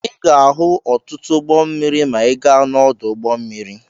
Ị ga-ahụ ọtụtụ ụgbọ mmiri ma ị gaa n'ọdụ ụgbọ mmiri.